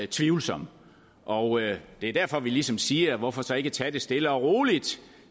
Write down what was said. tvivlsom og det er derfor vi ligesom siger hvorfor så ikke tage det stille og roligt